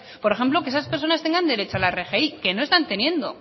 por ejemplo que esas personas tengan derecho a la rgi que no están teniendo